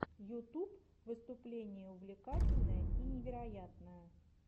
ютуб выступление увлекательное и невероятное